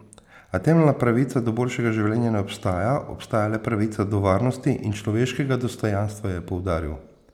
A temeljna pravica do boljšega življenja ne obstaja, obstaja le pravica do varnosti in človeškega dostojanstva, je poudaril.